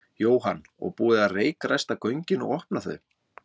Jóhann: Og búið að reykræsta göngin og opna þau?